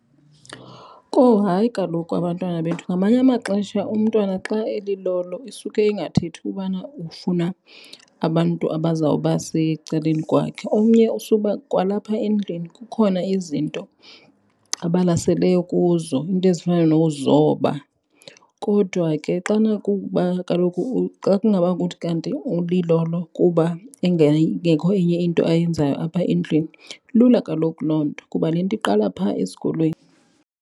Kowu, hayi kaloku abantwana bethu ngamanye amaxesha umntwana xa elilolo isuke ingathethi ubana ufuna abantu abazawuba secaleni kwakhe. Omnye usuba kwalapha endlini kukhona izinto abalaseleyo kuzo, iinto ezifana nokuzoba. Kodwa ke xana kuba kaloku xa kungaba kuthi kanti ulilolo kuba ingekho enye into ayenzayo apha endlwini, lula kaloku loo nto kuba le nto iqala phaa esikolweni.